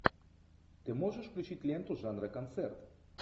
ты можешь включить ленту жанра концерт